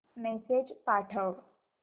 message पाठव